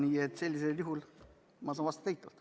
Nii et sellisel juhul saan vastata eitavalt.